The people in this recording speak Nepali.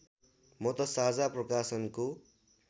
म त साझा प्रकाशनको